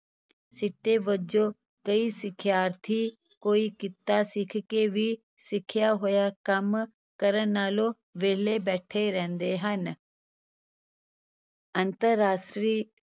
ਸਿੱਟੇ ਵਜੋਂ ਕਈ ਸਿਖਿਆਰਥੀ ਕੋਈ ਕਿੱਤਾ ਸਿੱਖ ਕੇ ਵੀ ਸਿੱਖਿਆ ਹੋਇਆ ਕੰਮ ਕਰਨ ਨਾਲੋਂ ਵਿਹਲੇ ਬੈਠੇ ਰਹਿੰਦੇ ਹਨ ਅੰਤਰਰਾਸ਼ਟਰੀ